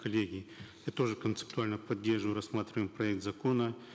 коллеги я тоже концептуально поддерживаю рассматриваемый проект закона